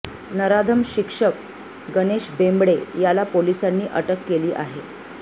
नराधम शिक्षक गणेश बेंबडे याला पोलिसांनी अटक केली आहे